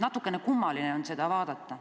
Natukene kummaline on seda vaadata.